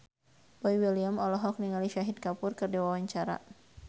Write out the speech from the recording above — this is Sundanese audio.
Boy William olohok ningali Shahid Kapoor keur diwawancara